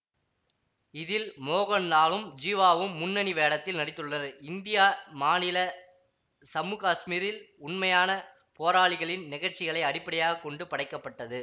இதில் மோகன்லாலும் ஜீவாவும் முன்னணி வேடத்தில் நடித்துள்ளனர் இந்திய மாநில சம்மு காசுமீரில் உண்மையான போராளிகளின் நிகழ்ச்சிகளை அடிப்படையாக கொண்டு படைக்க பட்டது